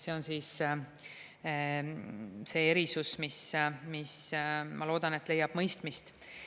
See on see erisus, mis, ma loodan, leiab mõistmist.